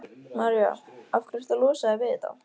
María: Af hverju ertu að losa þig við þetta?